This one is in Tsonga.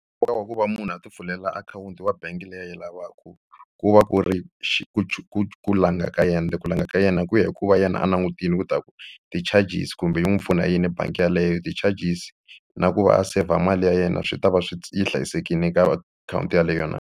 Nkoka wa ku va munhu a ti pfulela akhawunti wa bangi leyi a yi lavaka ku va ku ri ku ku langha ka yena ku langa ka yena ku ya hi ku va yena a langutile ku ta ku ti-charges kumbe yi n'wi pfuna hi yini bangi yeleyo ti-charges na ku va a saver mali ya yena swi ta va swi yi hlayisekile ka akhawunti yeleyo na.